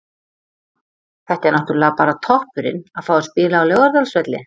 Þetta er náttúrulega bara toppurinn, að fá að spila á Laugardalsvelli.